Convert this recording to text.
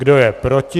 Kdo je proti?